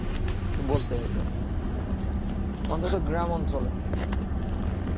বলতে গেলে অন্ততঃ গ্রাম অঞ্চলে